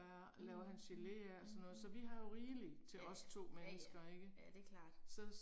Mh, mh, mh. Ja ja, ja ja, ja det er klart